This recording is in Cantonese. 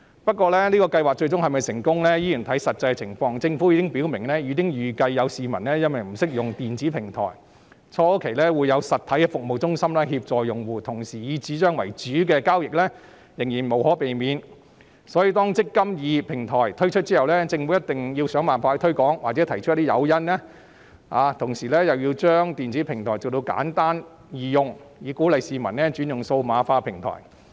不過，計劃最終是否成功，依然要視乎實際情況，政府表明已預計有市民不懂得使用電子平台，初期會有實體的服務中心協助用戶，同時以紙張為主的交易仍然無可避免，所以當"積金易"平台推出後，政府一定要想辦法推廣或提供誘因，並且把電子平台設計得簡單易用，以鼓勵市民轉用數碼化平台。